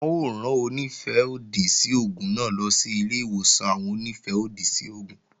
Wọn ó rán Onífẹ́-òdì sí oògùn náà lọ sí ilé-ìwòsàn àwọn Onífẹ́-òdì sí oògùn